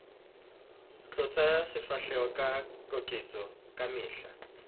tlotsa sefahleho ka keketso kamehla